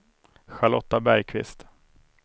Charlotta Bergqvist